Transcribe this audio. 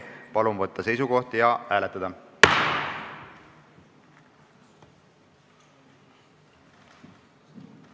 Palun võtta seisukoht ja hääletada!